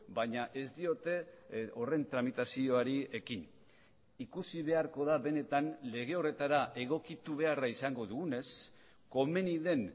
baina ez diote horren tramitazioari ekin ikusi beharko da benetan lege horretara egokitu beharra izango dugunez komeni den